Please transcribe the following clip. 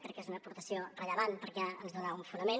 crec que és una aportació rellevant perquè ens dona un fonament